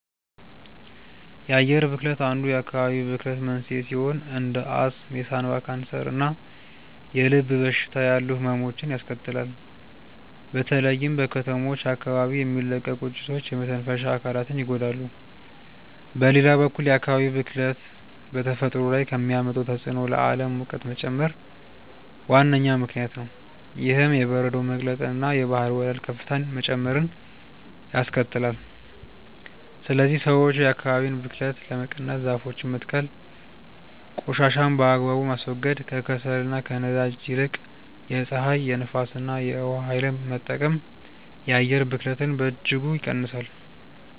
የአየር ብክለት አንዱ የአካባቢ ብክለት መንስኤ ሲሆን እንደ አስም፣ የሳምባ ካንሰር እና የልብ በሽታ ያሉ ህመሞችን ያስከትላል። በተለይም በከተሞች አካባቢ የሚለቀቁ ጭሶች የመተንፈሻ አካላትን ይጎዳሉ። በሌላ በኩል የአካባቢ ብክለት በተፈጥሮ ላይ ከሚያመጣው ተጽዕኖ ለዓለም ሙቀት መጨመር ዋነኛ ምክንያት ነው። ይህም የበረዶ መቅለጥንና የባህር ወለል ከፍታ መጨመርን ያስከትላል። ስለዚህ ሰዎች የአካባቢን ብክለት ለመቀነስ ዛፎችን መትከል ቆሻሻን በአግባቡ ማስወገድ፣ ከከሰልና ከነዳጅ ይልቅ የፀሐይ፣ የንፋስ እና የውሃ ኃይልን መጠቀም የአየር ብክለትን በእጅጉ ይቀንሳል።